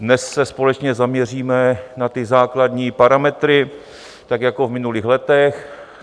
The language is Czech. Dnes se společně zaměříme na ty základní parametry tak jako v minulých letech.